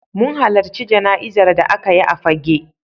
Mun halarci jana'izar da aka yi a Fagge.